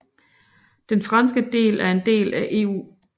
Den franske del er en del af EU